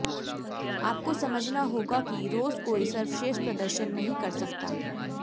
आपको समझना होगा कि रोज कोई सर्वश्रेष्ठ प्रदर्शन नहीं कर सकता